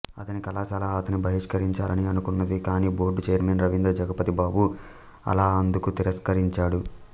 అతని కళాశాల అతన్ని బహిష్కరించాలని అనుకుంది కాని బోర్డు ఛైర్మన్ రవీంద్ర జగపతి బాబు అలాఅందుకు తిరస్కరించాడు